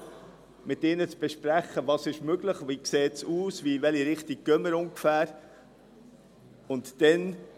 Ich schaue mit ihr, was möglich ist, wie es aussieht und in welche Richtung wir ungefähr gehen.